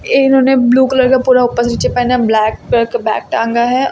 इन्होंने blue colour का पूरा ऊपर नीचे पहना है ब्लैक कलर का बैग टांगा है।